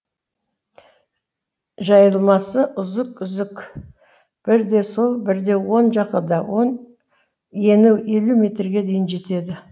жайылмасы үзік үзік бірде сол бірде оң жағада он ені елу метрге дейін жетеді